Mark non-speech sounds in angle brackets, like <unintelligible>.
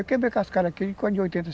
Eu quebrei cascalho aqui <unintelligible>